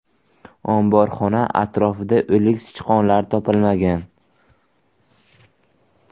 Omborxona atrofida o‘lik sichqonlar topilmagan.